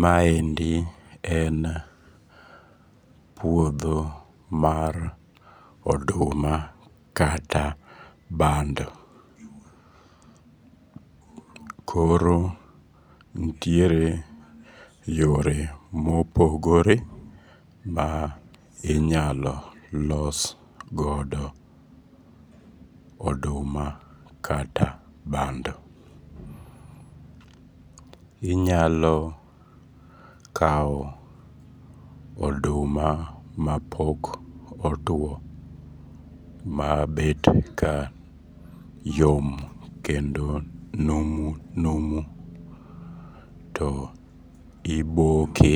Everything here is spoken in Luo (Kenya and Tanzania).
Ma endi en puodho mar oduma kata bando. Koro ntiere yore mopogore ma inyalo los godo oduma kata bando. Inyalo kao oduma ma pok otuo ma bet ka yom kendo numu numu to iboke